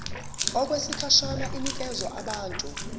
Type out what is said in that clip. okwesikhashana inikezwa abantu